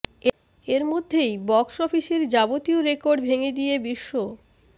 এর মধ্যেই বক্স অফিসের যাবতীয় রেকর্ড ভেঙে দিয়ে বিশ্ব